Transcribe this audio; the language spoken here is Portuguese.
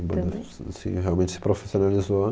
A banda se, realmente se profissionalizou.